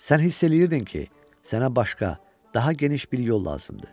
Sən hiss eləyirdin ki, sənə başqa, daha geniş bir yol lazımdır.